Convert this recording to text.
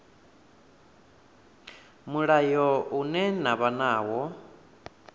mulayo ine na vha nayo